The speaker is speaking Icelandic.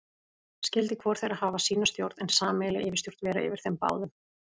Skyldi hvor þeirra hafa sína stjórn, en sameiginleg yfirstjórn vera yfir þeim báðum.